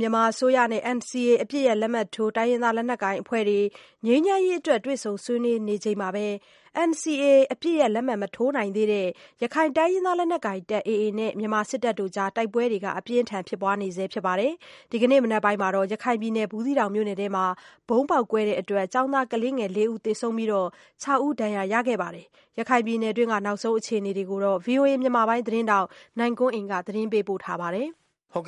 မြန်မာအစိုးရနဲ့NCA အပစ်ရပ်လက်မှတ်ထိုး တိုင်းရင်းသားလက်နက်အဖွဲ့တွေနဲ့ ငြိမ်းချမ်းရေးအတွက် တွေ့ဆုံဆွေး နွေးတော့မယ့် အချိန်မှာဘဲ NCA မထိုးနိုင်သေးတဲ့ ရခိုင်လက်နက်ကိုင် AA နဲ့မြန်မာစစ်တပ်တို့ အကြား တိုက်ပွဲပြင်းထန် ဖြစ်ပွားနေဆဲဖြစ်သလို ဒီနေ့မနက် ဘူးသီးတောင်မြို့နယ် အတွင်း ဗုံးပေါက်ကွဲမှုကြောင့် ကျောင်းသား ကလေးငယ် (၄) ဦးသေဆုံးပြီး (၆) ဦးဒဏ် ရာ ရရှိခဲ့တယ်လို့ ဒေသခံတွေက ပြောပါတယ်။ ရခိုင်ပြည်နယ်တွင်း နောက်ဆုံး အ ခြေ နေ တွေကို ဗွီအိုအေမြန်မာပိုင်း သတင်းထောက်နိုင်ကွန်းအိန် ကနေ သတင်းပေးပို့ထားပါတယ်။ ရ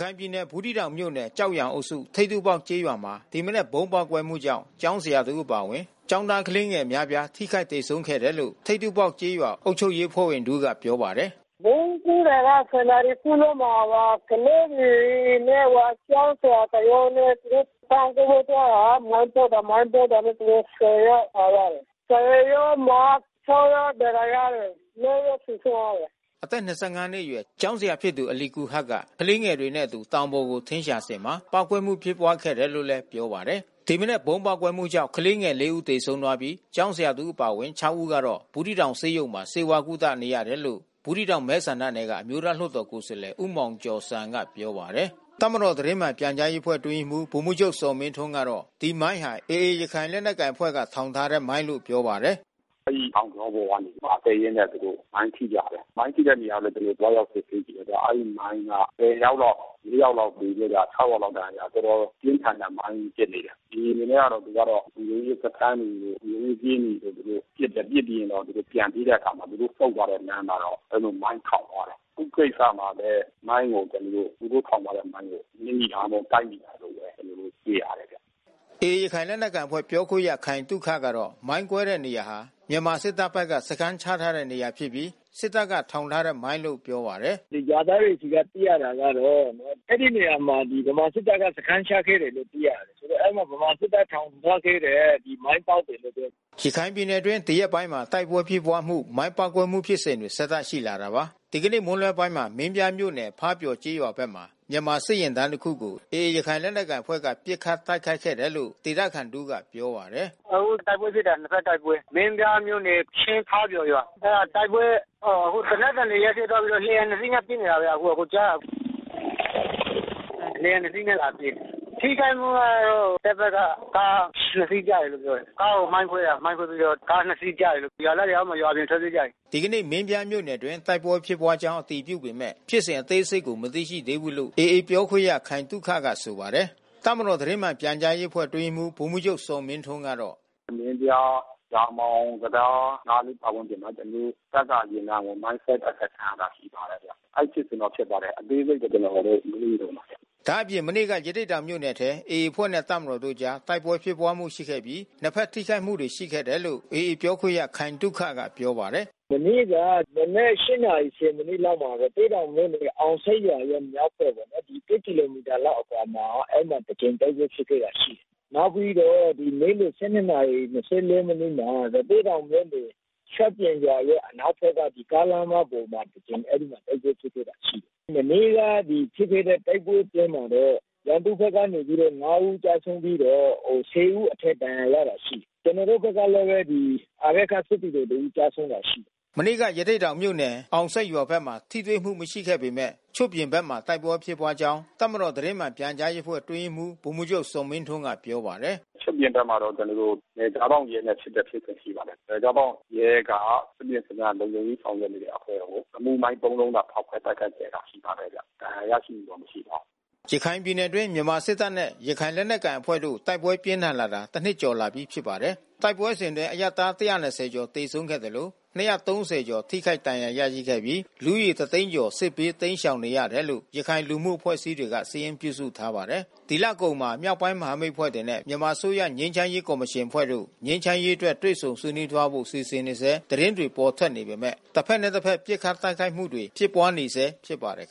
ခိုင်ပြည်နယ်၊ ဘူးသီးတောင်မြို့နယ် ကျောက်ရန်အုပ်စု ထိပ်ထူးပေါက်ကျေးရွာမှာ ဒီမနက်ဗုံးပေါက်ကွဲမှုကြောင့် ကျောင်းဆရာတဦးအပါဝင် ကျောင်းသား ကလေးငယ် အများပြား ထိခိုက်သေဆုံးခဲ့တယ်လို့ ထိပ်တူးပေါက်ကျေးရွာ အုပ်ချုပ်ရေးအဖွဲ့ဝင်တဦး ကပြောပါတယ်။ “ဗုံးကွဲတာက (၁၀)နာရီခွဲလောက်မှာ ကလေးတွေနဲ့ကျောင်းဆရာတယောက်နဲ့ သူတို့တောင်ပေါ်ကို သွားတာ မိုင်း ပေါက်တာ မိုင်းကွဲတာနဲ့သူတို့(၁၀ )ယောက်သွားရတယ်။ (၁၀)ယောက်မှာ (၆)ယောက် ဒဏ်ရာရတယ်။ (၄)ယောက် သေဆုံးသွားတယ်။” အသက် ၂၅ နှစ်အရွယ် ကျောင်းဆရာဖြစ်သူ အာလီကူဟာရ်က ကလေးတွေနဲ့အတူ တောင်ပေါ်ကို ထင်းရှာစဉ်မှာ ပေါက်ကွဲမှုဖြစ်ခဲ့တာလို့ လည်း ပြောပါတယ်။ ဒီမနက်ဗုံး ပေါက်ကွဲမှု ကြောင့် ကလေးငယ်(၄) ဦးသေဆုံးပြီး ကျောင်းဆရာတဦး အပါဝင်(၆) ဦး ကတော့ ဘူးသီးတောင်ဆေးရုံမှာ ဆေးဝါး ကုသ နေရတယ် လို့ ဘူးသီးတောင်မဲဆန္ဒနယ်က အမျိုးသားလွှတ်တော် ကိုယ်စားလှယ် ဦးမောင်ကျော်ဇံ ကပြောပါတယ်။ တပ်မတော် သတင်းမှန်ပြန်ကြားရေးအဖွဲ့အတွင်းရေးမှူး ဗိုလ်မှူးချုပ်ဇော်မင်းထွန်းကတော့ ဒီမိုင်းဟာ AA ရခိုင် လက်နက်ကိုင်အဖွဲ့က ထောင်ထားတဲ့မိုင်းလို့ပြောပါတယ်။ “အဲဒီတောင်ကြောပေါ် ကတက်ရင်းနဲ့ မိုင်းထိကြတယ်။ မိုင်းထိတဲ့နေရာလဲ ကျွန်တော်တို့ သွားရောက်စစ်ဆေးကြည့်တယ်။ အဲဒီမိုင်းက (၁၀)ယောက်လောက် (၄)ယောက်လောက် သေပြီးတော့ (၆)ယောက်လောက် ဒဏ်ရာရသွားတယ်။ တော်တော် ပြင်းထန်တဲ့မိုင်းဖြစ်တယ်။ AA အနေနဲ့က သူကတော့ လုံခြုံရေးစခန်းတွေ လုံခြုံရေးကင်းတွေကို သူတို့ပစ်တယ်။ ပစ်ပြီးတော့ သူတို့ပြန်ပြေးတဲ့အခါမှာ သူုတို့ဆုတ်သွားတဲ့ လမ်းမှာတော့ အဲဒီလို မိုင်းထောင်သွားတယ်။ အခုကိစ္စမှာလဲမိုင်းကို သူတို့ထောင်ထားတဲ့မိုင်းကို နင်းမိတာတို့ တိုက်မိတာတို့ ဘဲ ကျွန်တော်တို့တွေ့ရတယ်ဗျ။” AA ရခိုင်လက်နက်ကိုင်အဖွဲ့ပြောခွင့်ရ ခိုင်သုခကတော့ မိုင်းကွဲတဲ့နေရာဟာ မြန်မာစစ်တပ်ဘက်က စခန်းချထားတဲ့နေရာ ဖြစ်ပြီး စစ်တပ်ကထောင်ထားတဲ့ မိုင်းလို့ပြောပါတယ်။ “ရွာသားတွေဆီက သိရတာကတော့ အဲဒီနေရာမှာ ဗမာစစ်တပ်ဘက်က စခန်းချခဲ့တယ်လို့သိရတယ်။ ဆိုတော့ အဲဒီဗမာ စစ်တပ်ထောင်ထားခဲ့တဲ့ မိုင်းပေါက်တယ်လို့ပြောတယ်။” ရခိုင်ပြည်နယ်အတွင်း ဒီရက်ပိုင်းမှာ တိုက်ပွဲဖြစ်ပွားမှု မိုင်းပေါက်ကွဲမှုဖြစ်စဉ်တွေ ဆက်တိုက် ရှိလာတာပါ။ ဒီကနေ့မွန်းလွှဲပိုင်းမှာ မင်းပြားမြို့နယ် ဖားပျော်ကျေးရွာဘက်မှာ မြန်မာစစ်တပ်ယာဉ်တန်းတခုကို AAရခိုင်လက်နက် ကိုင်အဖွဲ့ဘက်က ပစ်ခတ်တိုက်ခိုက်တယ်လို့ ဒေသခံတဦးကပြောပါတယ်။ “အခုတိုက်ပွဲဖြစ်တာ နှစ်ဖက်တိုက်ပွဲ။ မင်းပြားမြို့နယ် ချင်းဖါးပျော်ရွာ။ အဲတာတိုက်ပွဲ အခု သေနတ်သံတွေ ရပ်သွားပြီးတော့ လေယာဉ်နှစ်စီးနဲ့ပစ်နေတာဗျ အကိုကြားလား။ လေယာဉ်နှစ်စီးနဲ့လာပစ်တယ်။ ထိခိုက်မှုကတော့ တပ်ဘက်က ကားနှစ်စီးကျတယ်လို့ပြောတယ်။ ကားကိုမိုင်းခွဲတာ မိုင်းခွဲပြီးတော့ ကားနှစ်စီးကျတယ်လို့။ ရွာသားတွေ တော့ အောက်မှာ ထွက်ပြေးကြတယ်။” ဒီနေ့မင်းပြားမြို့နယ်အတွင်း တိုက်ပွဲဖြစ်ပွားကြောင်းအတည်ပြုပေမဲ့ ဖြစ်စဉ်အသေးစိတ်ကို မသိရှိ သေးဘူးလို့ AAပြောခွင့်ရ ခိုင်သုခကဆိုပါတယ်။ တပ်မတော်သတင်းမှန်ပြန်ကြားရေးအဖွဲ့အတွင်းရေးမှူး ဗိုလ်မှူးချုပ်ဇော်မင်းထွန်းကတော့ “မင်းပြား၊ ရာမောင်တံတားပတ်ဝန်းကျင်မှာ ကျွန်တော်တို့တပ်ကယာဉ်တန်းကို မိုင်းဆွဲတိုက်ခိုက်ခံရတာ ရှိပါတယ်ဗျ။ အဲဒီဖြစ်စဉ်တော့ဖြစ်ပါတယ်။ အသေးစိတ်ကိုတော့ ကျွန်တော်တို့ မေးနေတုန်းပါဗျ။” ဒါ့အပြင် မနေ့က ရသေ့တောင်မြို့နယ်ထဲမှာ AAအဖွဲ့နဲ့တပ်မတော်တို့အကြား တိုက်ပွဲဖြစ်ပွားမှုရှိခဲ့ပြီး နှစ်ဖက်ထိခိုက်မှု တွေရှိခဲ့တယ်လို့ AAပြောခွင့်ရခိုင်သုခကပြောပါတယ်။ “မနေ့က မနက်(၈)နာရီ(၁၀)မိနစ်လောက်မှာ အောင်ဆိပ်ရွာရဲ့မြောက်ဖက်ပေါ့နော်။ (၁) ကီလိုမီတာလောက်အကွာမှာ အဲဒီမှာတကြိမ်တိုက်ပွဲဖြစ်ခဲ့တာရှိတယ်။ နောက်ပြီးတော့နေ့လည်(၁၂)နာရီ(၂၄)မိနစ်မှာ ရသေ့တောင်မြို့နယ် ချွတ်ပြင်ရွာရဲ့အနောက်ဖက်က ကားလမ်းမပေါ်မှာ အဲဒီမှာတိုက်ပွဲဖြစ်ပွားခဲ့တာရှိတယ်။ မနေ့က ဖြစ်ခဲ့တဲ့တိုက်ပွဲ အတွင်းမှာတော့ ရန်သူဘက်က(၅)ဦးကျဆုံးပြီးတော့(၁၀)ဦးအထက်ဒဏ်ရာရတာရှိတယ်။ ကျွန်တော်တို့ဘက်ကလဲဘဲ စစ်သည်တော်တဦး ကျဆုံးတာရှိတယ်။” မနေ့ကရသေ့တောင်မြို့နယ်အောင်ဆိပ်ရွာဖက်မှာထိတွေ့မှုမရှိပေမဲ့ ချွတ်ပြင်ဖက်မှာ တိုက်ပွဲဖြစ်ပွားကြောင်း တပ်မတော် သတင်းမှန်ပြန်ကြားရေးအဖွဲ့အတွင်းရေးမှူး ဗိုလ်မှူးချုပ်ဇော်မင်းထွန်းကပြောပါတယ်။ “ချွတ်ပြင်ဖက်မှာတော့ ကျွန်တော်တို့ နယ်ခြားစောင့်ရဲနဲ့ဖြစ်တဲ့ဖြစ်စဉ်ကရှိပါတယ်။ နယ်ခြားစောင့်ရဲက သူ့ရဲ့စခန်း လုံခြုံရေးဆောင်ရွက်နေတဲ့အဖွဲ့ကို ရီမုမိုင်း(၃)လုံးနဲ့ဖောက်ခွဲတိုက်ခိုက်ခဲ့တာရှိပါတယ်ဗျ။ ဒဏ်ရာရရှိမှုတော့ မရှိပါဘူး။” ရခိုင်ပြည်နယ်အတွင်း မြန်မာစစ်တပ်နဲ့ရခိုင်လက်နက်ကိုင်အဖွဲ့တို့တိုက်ပွဲပြင်းထန်ဖြစ်ပွားလာတာ တနှစ်ကျော်လာပြီး ဖြစ်ပါတယ်။ တိုက်ပွဲစဉ်အတွင်းအရပ်သား(၁၂၀)ကျော်သေဆုံးခဲ့သလို (၂၃၀)ကျော်ထိခိုက်ဒဏ်ရာရရှိခဲ့ပြီး လူဦးရေတသိန်းကျော် စစ်ဘေးတိမ်းရှောင်နေရတယ်လို့ ရခိုင်လူမှု အဖွဲ့အစည်းတွေက စာရင်းပြုစုထားပါတယ်။ ဒီလအကုန်မှာ မြောက်ပိုင်းမဟာမိတ်အဖွဲ့တွေနဲ့မြန်မာအစိုးရငြိမ်းချမ်းရေးကော်မရှင်အဖွဲ့တို့ ငြိမ်းချမ်းရေးအတွက် တွေ့ဆုံသွားဆွေးနွေးဖို့စီစဉ်နေဆဲသတင်းတွေပေါ်ထွက်နေပေမဲ့ တဖက်နဲ့တဖက် ပစ်ခတ်တိုက်ခိုက်မှု တွေဖြစ်ပွားနေ ဆဲဖြစ်ပါတယ်